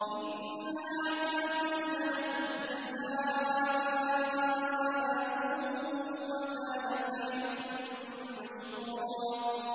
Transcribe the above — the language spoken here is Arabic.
إِنَّ هَٰذَا كَانَ لَكُمْ جَزَاءً وَكَانَ سَعْيُكُم مَّشْكُورًا